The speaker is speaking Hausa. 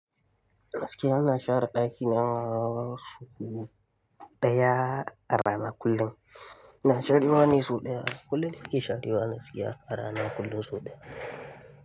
Gaskiya zan share ɗakina sau daya a rana kullum. Ina sharewa ne sau ɗaya kullum, nake share gaskiya a rana kullum sau ɗaya.